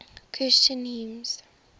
christian hymns